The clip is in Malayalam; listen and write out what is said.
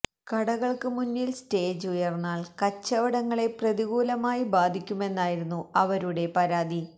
കടകള്ക്ക് മുന്നില് സ്റ്റേജ് ഉയര്ന്നാല് കച്ചവടങ്ങളെ പ്രതികൂലമായി ബാധിക്കുമെന്നായിരുന്നു അവരുടെ പരാതി